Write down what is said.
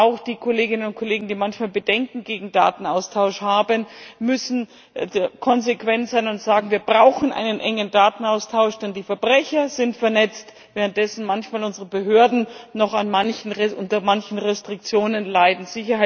Und auch die Kolleginnen und Kollegen, die manchmal Bedenken gegen Datenaustausch haben, müssen konsequent sein und sagen Wir brauchen einen engen Datenaustausch, denn die Verbrecher sind vernetzt, während unsere Behörden manchmal noch unter manchen Restriktionen leiden.